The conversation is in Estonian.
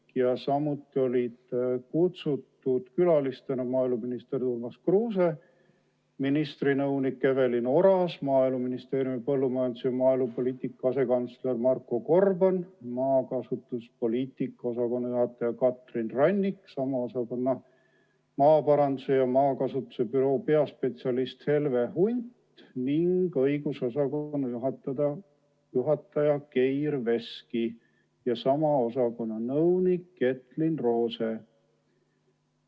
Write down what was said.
Külalistena olid kutsutud maaeluminister Urmas Kruuse, ministri nõunik Evelin Oras, Maaeluministeeriumi põllumajandus- ja maaelupoliitika asekantsler Marko Gorban, maakasutuspoliitika osakonna juhataja Katrin Rannik, sama osakonna maaparanduse ja maakasutuse büroo peaspetsialist Helve Hunt ning õigusosakonna juhataja Geir Veski ja sama osakonna nõunik Ketlyn Roze.